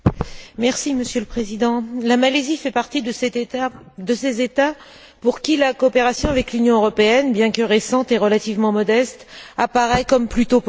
Monsieur le Président, la Malaisie fait partie de ces États pour qui la coopération avec l'Union européenne, bien que récente et relativement modeste, apparaît comme plutôt positive.